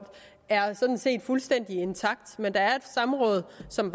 er sådan set fuldstændig intakt men der er et samråd som